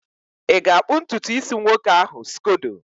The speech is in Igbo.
ị ga-akpụ ntutu isi nwoke ahụ scodo?